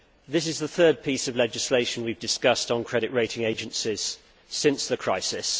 This is the third piece of legislation we have discussed on credit rating agencies since the crisis.